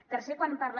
eh tercer quan parla